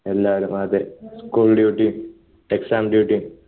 എല്ലാരും അതെ school duty യും exam duty യും